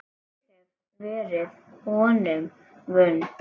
Ég hef verið honum vond.